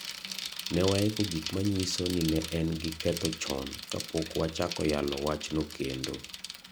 Ne waiko gik manyiso ni ne en gi ketho chon kapok wachako yalo wachno kendo.